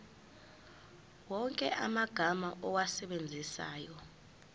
wonke amagama owasebenzisayo